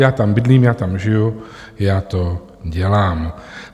Já tam bydlím, já tam žiju, já to dělám.